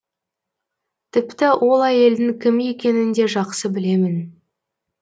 тіпті ол әйелдің кім екенін де жақсы білемін